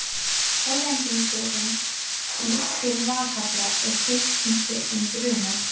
Hollendingurinn til Valhallar og tilkynnti um brunann.